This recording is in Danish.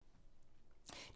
DR2